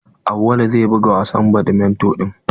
Auwalu zai buga gasar badminto din.